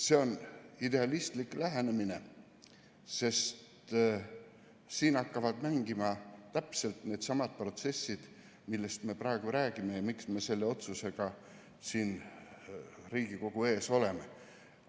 See on idealistlik lähenemine, sest siin hakkavad mängima täpselt needsamad protsessid, millest me praegu räägime ja miks me selle otsusega siin Riigikogu ees oleme.